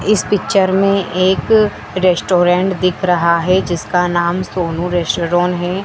इस पिक्चर में एक रेस्टोरेंट दिख रहा हैं जिसका नाम सोनू रेस्टोरोन हैं।